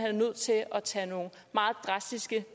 er nødt til at tage nogle meget drastiske